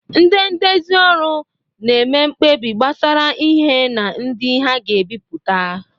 Ndị ndezi ọrụ na-eme mkpebi gbasara ihe na ndị ha ga-ebipụta